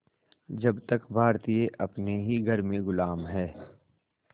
जब तक भारतीय अपने ही घर में ग़ुलाम हैं